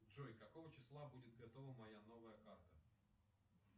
джой какого числа будет готова моя новая карта